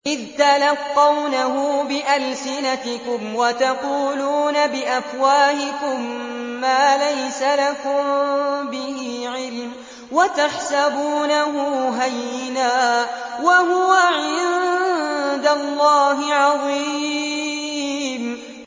إِذْ تَلَقَّوْنَهُ بِأَلْسِنَتِكُمْ وَتَقُولُونَ بِأَفْوَاهِكُم مَّا لَيْسَ لَكُم بِهِ عِلْمٌ وَتَحْسَبُونَهُ هَيِّنًا وَهُوَ عِندَ اللَّهِ عَظِيمٌ